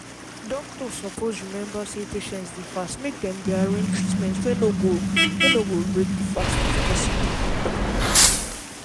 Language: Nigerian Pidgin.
um doctor suppose remember say some patients dey fast make dem the arrange treatment wey no go wey no go break di fast if possible.